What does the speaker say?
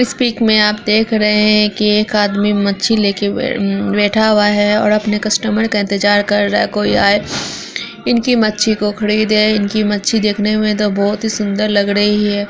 इस पीक मे आप देख रहे हैं कि एक आदमी मच्छी लेके बे-बैठा हुआ है ओर अपने कस्टमर का इंतजार कर रहा है कोई आए इनकी मच्छी को खरीदे इनकी मच्छी देखने मे तो बोहोत ही सुंदर लग रही है।